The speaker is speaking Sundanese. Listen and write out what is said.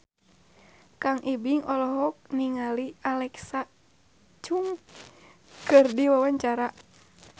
Kang Ibing olohok ningali Alexa Chung keur diwawancara